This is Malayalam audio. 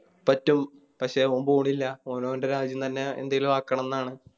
പറ്റും പക്ഷെ അവൻ പോണില്ല ഓൻ ഓൻറെ രാജ്യം തന്നെ എന്തേലും ആക്കണംന്നാണ്